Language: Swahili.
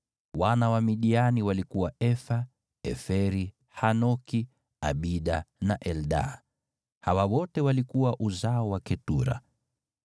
Wana wa Midiani walikuwa Efa, Eferi, Hanoki, Abida na Eldaa. Hawa wote walikuwa uzao wa Ketura.